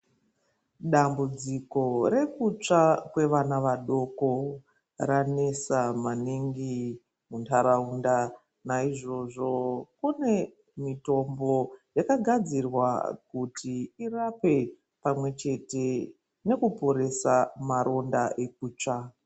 Dambudziko rekutsva kwevana vadoko ranetsa maningi muntaraunda, naizvozvo kunemitombo yakagadzirwa kuti irape pamwechete nekuporesa maronda ekutsva.